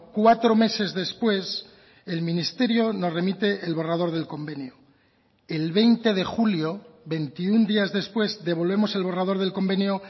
cuatro meses después el ministerio nos remite el borrador del convenio el veinte de julio veintiuno días después devolvemos el borrador del convenio